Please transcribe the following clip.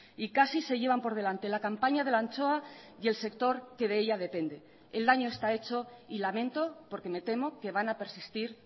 y casi se llevan por delante la campaña de la anchoa y el sector que de ella depende el daño está hecho y lamento porque me temo que van a persistir